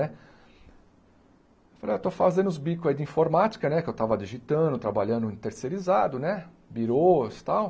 Né eu falei, ah eu estou fazendo os bicos aí de informática, né, que eu estava digitando, trabalhando terceirizado, né, birôs e tal.